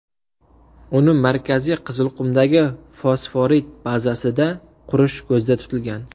Uni Markaziy Qizilqumdagi fosforit bazasida qurish ko‘zda tutilgan.